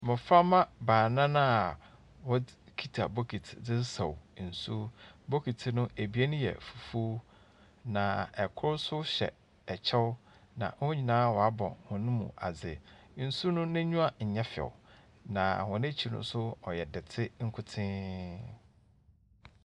Mboframba baanan a wokita bokita sesaw nsu. Bokiti no abien yɛ fufuw, na kor nso hyɛ kyɛw. Na wɔn nyinaa wɔabɔ hɔn mu ase. Nsu n'enyi nyɛ few na hɔn akyir nso yɛ dɛte nkotsenn.